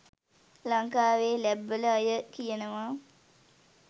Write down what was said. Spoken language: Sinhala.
ලංකාවේ ලැබ් වල අය කියනවා.